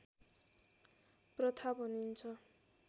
प्रथा भनिन्छ